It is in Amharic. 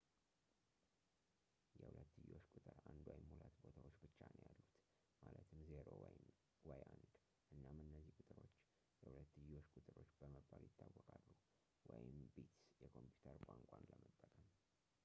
የሁለትዮሽ ቁጥር አንድ ወይም ሁለት ቦታዎች ብቻ ነው ያሉት ማለትም 0 ወይ 1 እናም እነዚህ ቁጥሮች የሁለትዮሽ ቁጥሮች በመባል ይታወቃሉ ወይም ቢትስ የኮምፒውተር ቋንቋን ለመጠቀም